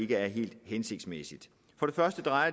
være helt hensigtsmæssige